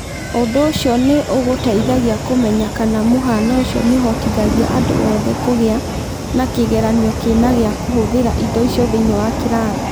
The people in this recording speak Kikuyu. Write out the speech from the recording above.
Ũndũ ũcio nĩ ũgũteithagia kũmenya kana mũhaano ũcio nĩ ũhotithagia andũ othe kũgĩa na kĩgeranio kĩna gĩa kũhũthĩra indo icio thĩinĩ wa kĩrathi.